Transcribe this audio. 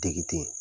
Degeden